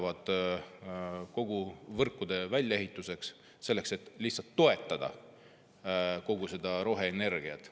Väga suur raha läheb võrkude väljaehituseks, selleks, et lihtsalt toetada kogu seda roheenergiat.